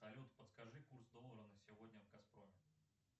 салют подскажи курс доллара на сегодня в газпроме